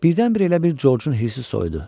Birdən-birə elə bil Corcun hirsi soyudu.